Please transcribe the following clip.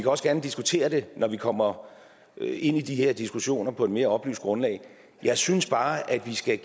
også gerne diskutere det når vi kommer ind i de her diskussioner på et mere oplyst grundlag jeg synes bare vi skal